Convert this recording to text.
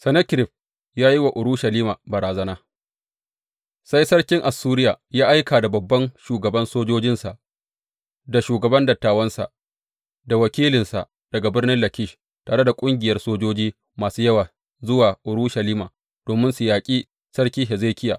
Sennakerib ya yi wa Urushalima barazana Sai sarkin Assuriya ya aika da babban shugaban sojojinsa, da shugaban dattawansa, da wakilinsa daga birnin Lakish tare da ƙungiyar sojoji masu yawa zuwa Urushalima domin su yaƙi Sarki Hezekiya.